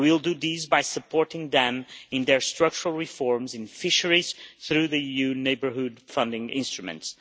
We will do this by supporting them in their structural reforms in fisheries, through the EU Neighbourhood funding instruments.